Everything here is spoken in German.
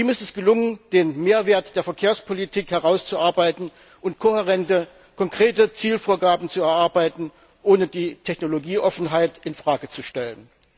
Ihm ist es gelungen, den Mehrwert der Verkehrspolitik herauszuarbeiten und kohärente, konkrete Zielvorgaben zu erarbeiten, ohne die Technologieoffenheit in Frage zu stellen.